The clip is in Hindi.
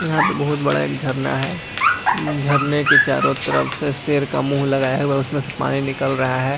यहाँ पे बहुत बड़ा एक झरना है झरने के चारो तरफ से शेर का मुँह लगाया हुआ है उसमे से पानी निकल रहा है ।